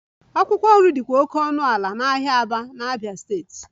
Akwụkwọ nri dịkwa oke ọnụ ala n'ahịa Aba, Abia steeti